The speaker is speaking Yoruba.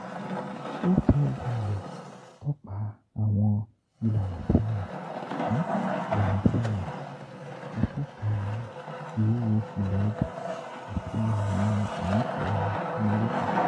HLAL tọpa awọn ilana-ti a yan, ilana-ti a yan, atọka iwuwo-fila-ọja ti awọn inifura AMẸRIKA.